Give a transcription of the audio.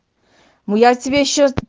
ну я тебе ещё с